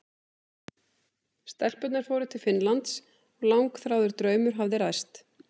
Stelpurnar fóru til Finnlands og langþráður draumur hafði ræst.